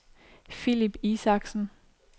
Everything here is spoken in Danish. Philip Isaksen